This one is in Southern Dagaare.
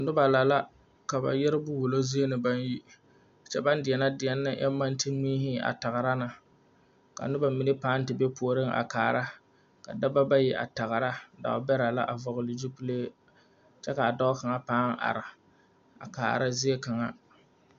Nobɔ la la ka ba yɛrebo wullo zie dɔbɔ na baŋ yi kyɛ baŋ deɛnɛ deɛn ne a maŋ de mihi a tagra ne ka nobɔ mine pãã te be puoriŋ a kaara ka nobɔ bayi a tagra dɔɔbɛrɛ la a vɔgle zupile kyɛ kaa dɔɔ kaŋa pãã are a kaara zie kaŋa.